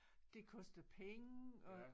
Det koster penge og